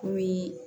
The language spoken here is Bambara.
Komi